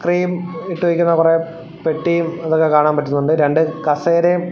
ഇത്രയും ഇട്ടിരിക്കുന്ന കൊറെ പെട്ടിയും അതൊക്കെ കാണാൻ പറ്റുന്നുണ്ട് രണ്ട് കസേരയും--